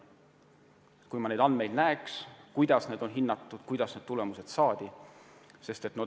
Ma peaksin neid andmeid enne nägema ja vaatama, kuidas need hinnangud on saadud, kuidas need tulemused on saadud.